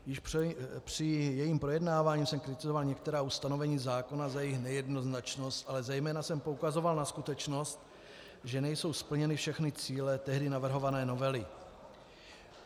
Již při jejím projednávání jsem kritizoval některá ustanovení zákona za jejich nejednoznačnost, ale zejména jsem poukazoval na skutečnost, že nejsou splněny všechny cíle tehdy navrhované novely.